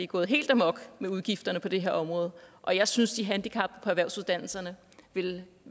gået helt amok med udgifterne på det her område og jeg synes at de handicappede på erhvervsuddannelserne ville